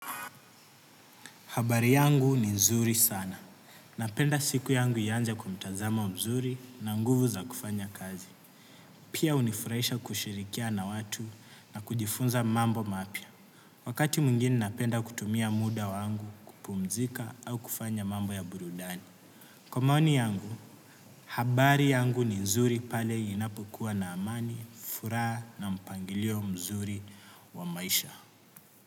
Habari yangu ni nzuri sana. Napenda siku yangu ianze kwa mtazamo mzuri na nguvu za kufanya kazi. Pia hunifurahisha kushirikiana na watu na kujifunza mambo mapya. Wakati mwingine napenda kutumia muda wangu kupumzika au kufanya mambo ya burudani. Kwa maoni yangu, habari yangu ni nzuri pale inapokuwa na amani, furaha na mpangilio mzuri wa maisha.